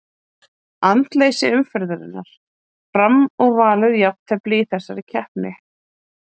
Andleysi umferðarinnar: Fram og Valur Jafntefli í þessari keppni.